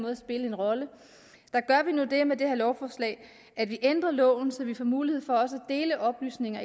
at spille en rolle og det med det her lovforslag at vi ændrer loven så vi får mulighed for også at dele oplysninger